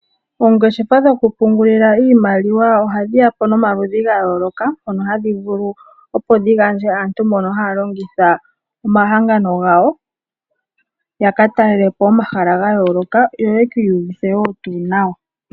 Oongeshefa dhokupungulila iimaliwa ohadhi ya po nomaludhi ga yooloka mono hadhi vulu opo dhi gandje aantu mbono haya longitha omahangano gawo ya ka talele po omahala ga yooloka, yo yeki iyuvithe woo tuu nawa.